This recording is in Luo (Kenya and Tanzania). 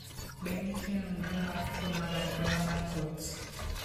Be nitie nonro mar tuo mar anyuola mar Coats?